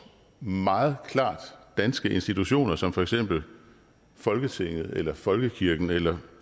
meget klart danske institutioner som for eksempel folketinget eller folkekirken eller